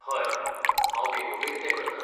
हय, हांव बेगोबेग तें करतां.